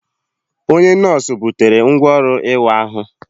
Onye nọọsụ butere ngwá ọrụ ịwa ahụ.